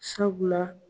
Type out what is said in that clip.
Sabula